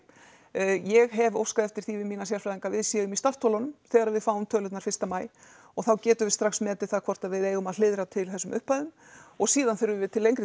ég hef óskað eftir því við mína sérfræðinga að við séum í startholunum þegar við fáum tölurnar fyrsta maí og þá getum við strax metið það hvort við eigum að hliðra til þessum upphæðum og síðan þurfum við til lengri